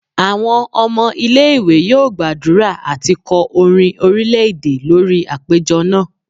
Awọn ọmọ ile-iwe yóò gbadurá ati kọ orin orilẹ-ede lori apejọ náá